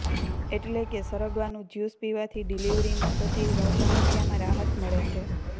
એટલે કે સરગવા નું જ્યુસ પીવા થી ડિલીવરી માં થતી સમસ્યા માં રાહત મળે છે